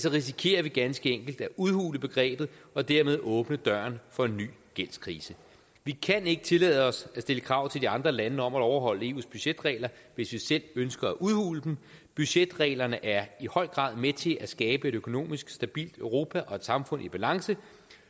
risikerer vi ganske enkelt at udhule begrebet og dermed åbne døren for en ny gældskrise vi kan ikke tillade os at stille krav til de andre lande om at overholde eus budgetregler hvis vi selv ønsker at udhule dem budgetreglerne er i høj grad med til at skabe et økonomisk stabilt europa og et samfund i balance